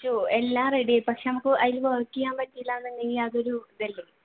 എല്ലാം ready ആയി പക്ഷെ നമുക്ക് അതിൽ work ചെയാൻ പറ്റൂല എന്നുണ്ടെങ്കിൽ അതൊരു ഇതല്ലേ